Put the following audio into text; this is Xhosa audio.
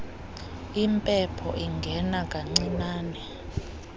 impepho ingena kancinane